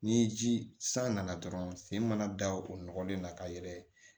Ni ji san nana dɔrɔn sen mana da o nɔgɔlen na ka yɛlɛ